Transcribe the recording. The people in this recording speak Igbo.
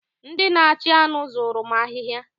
Ndị na-achị anụ zuru m ahịhịa.